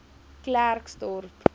klerksdorp